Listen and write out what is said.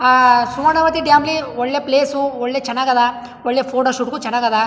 ಅಹ್ Suvarnavathi dam ಗೆ ಒಳ್ಳೆ place ಒಳ್ಳೆ ಚನ್ನಾಗ್ ಅದ ಒಳ್ಳೆ ಫೋಟೋ ಶೂಟ್ ಗು ಚನ್ನಾಗ್ ಅದ.